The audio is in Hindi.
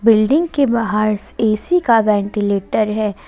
बिल्डिंग के बाहर ऐ_सी का वेंटीलेटर है।